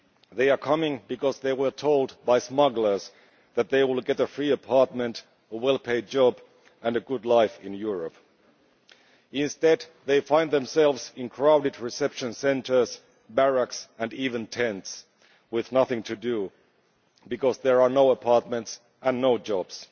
They are coming because they were told by smugglers that they will get a free apartment, a well paid job and a good life in Europe. Instead they find themselves in crowded reception centres, barracks or even tents, with nothing to do because there are no apartments and no jobs.